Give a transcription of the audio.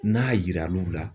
N'a yiral'u la.